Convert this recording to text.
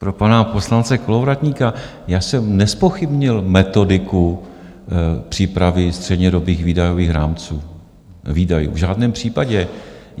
Pro pana poslance Kolovratníka, já jsem nezpochybnil metodiku přípravy střednědobých výdajových rámců, výdajů, v žádném případě!